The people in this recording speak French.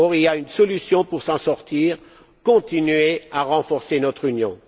Or, il y a une solution pour s'en sortir continuer à renforcer notre Union.